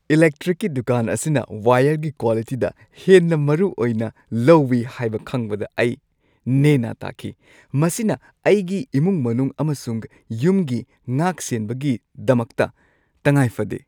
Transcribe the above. ꯏꯂꯦꯛꯇ꯭ꯔꯤꯛꯀꯤ ꯗꯨꯀꯥꯟ ꯑꯁꯤꯅ ꯋꯥꯏꯌꯔꯒꯤ ꯀ꯭ꯋꯥꯂꯤꯇꯤꯗ ꯍꯦꯟꯅ ꯃꯔꯨꯑꯣꯏꯅ ꯂꯧꯋꯤ ꯍꯥꯏꯕ ꯈꯪꯕꯗ ꯑꯩ ꯅꯦ ꯅꯥ ꯇꯥꯈꯤ ꯫ ꯃꯁꯤꯅ ꯑꯩꯒꯤ ꯏꯃꯨꯡ-ꯃꯅꯨꯡ ꯑꯃꯁꯨꯡ ꯌꯨꯝꯒꯤ ꯉꯥꯛꯁꯦꯟꯕꯒꯤꯗꯃꯛꯇ ꯇꯉꯥꯏꯐꯗꯦ ꯫